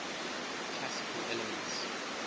classical elements